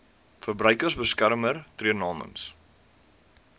verbruikersbeskermer tree namens